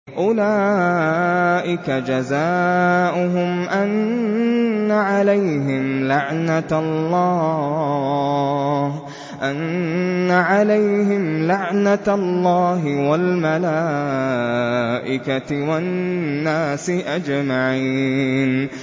أُولَٰئِكَ جَزَاؤُهُمْ أَنَّ عَلَيْهِمْ لَعْنَةَ اللَّهِ وَالْمَلَائِكَةِ وَالنَّاسِ أَجْمَعِينَ